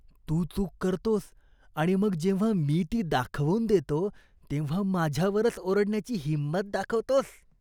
तू चूक करतोस आणि मग जेव्हा मी ती दाखवून देतो तेव्हा माझ्यावरच ओरडण्याची हिंमत दाखवतोस.